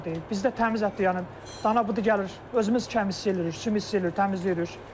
Bizdə təmiz ətdir, yəni dana budur gəlir, özümüz kəm hiss eləyirik, sümü hiss eləyirik, təmizləyirik.